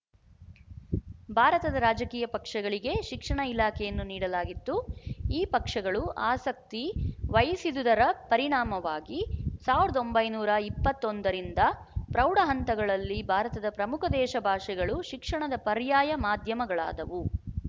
ಭಾರತದ ರಾಜಕೀಯ ಪಕ್ಷಗಳಿಗೆ ಶಿಕ್ಷಣ ಇಲಾಖೆಯನ್ನು ನೀಡಲಾಗಿತ್ತು ಈ ಪಕ್ಷಗಳು ಆಸಕ್ತಿ ವಹಿಸಿದುದರ ಪರಿಣಾಮವಾಗಿ ಸಾವಿರದ ಒಂಬೈನೂರ ಇಪ್ಪತ್ತ್ ಒಂದ ರಿಂದ ಪ್ರೌಢ ಹಂತಗಳಲ್ಲಿ ಭಾರತದ ಪ್ರಮುಖ ದೇಶ ಭಾಷೆಗಳು ಶಿಕ್ಷಣದ ಪರ್ಯಾಯ ಮಾಧ್ಯಮಗಳಾದವು